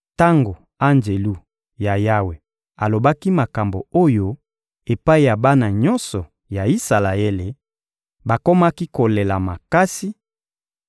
Tango Anjelu ya Yawe alobaki makambo oyo epai ya bana nyonso ya Isalaele, bakomaki kolela makasi,